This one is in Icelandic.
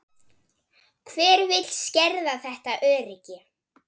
Hver vill skerða þetta öryggi?